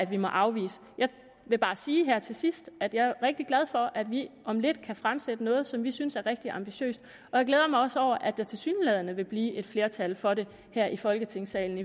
vi må afvise jeg vil bare sige her til sidst at jeg er rigtig glad for at vi om lidt kan fremsætte noget som vi synes er rigtig ambitiøst og jeg glæder mig også over at der tilsyneladende vil blive et flertal for det her i folketingssalen